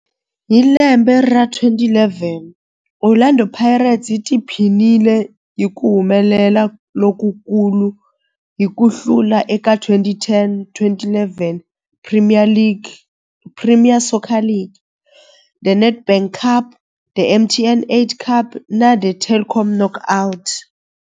Hi lembe ra 2011, Orlando Pirates yi tiphinile hi ku humelela lokukulu hi ku hlula eka 2010-11 Premier Soccer League, The Nedbank Cup, The MTN 8 Cup na The Telkom Knockout.